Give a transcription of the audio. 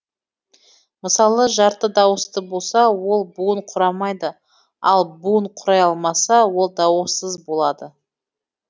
мысалы жарты дауысты болса ол буын құрамайды ал буын құрай алмаса ол дауыссыз болады